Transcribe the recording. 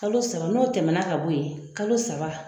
Kalo saba, n'o tɛmɛna ka bɔ yen. Kalo saba